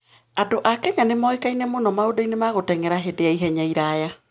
Andũ a Kenya nĩ moĩkaine mũno maũndũ-inĩ ma gũteng'era hĩndĩ ya ihenya iraya.